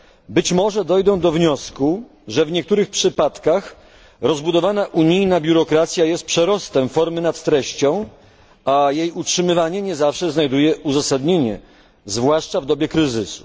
być może dojdą do wniosku, że w niektórych przypadkach rozbudowana unijna biurokracja jest przerostem formy nad treścią, a jej utrzymywanie nie zawsze znajduje uzasadnienie, zwłaszcza w dobie kryzysu.